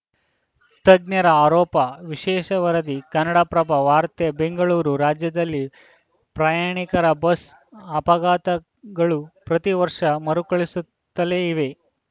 ತಜ್ಞೆರ ಆರೋಪ ವಿಶೇಷ ವರದಿ ಕನ್ನಡಪ್ರಭ ವಾರ್ತೆ ಬೆಂಗಳೂರು ರಾಜ್ಯದಲ್ಲಿ ಪ್ರಯಾಣಿಕರ ಬಸ್‌ ಅಪಘಾತ ಗಳು ಪ್ರತಿ ವರ್ಷ ಮರುಕಳಿಸುತ್ತಲೇ ಇವೆ